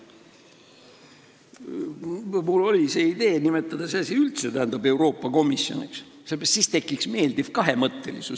Mul oli idee nimetada see asi üldse Euroopa komisjoniks, sest siis tekiks meeldiv kahemõttelisus.